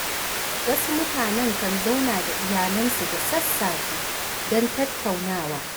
Wasu mutanen kan zauna da iyalansu da sassafe don tattaunawa.